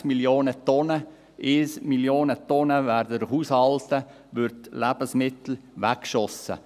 2,6 Mio. Tonnen Lebensmittel, 1 Mio. Tonnen in den Haushalten, werden weggeworfen.